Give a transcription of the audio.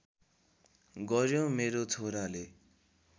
गर्‍यो मेरो छोराले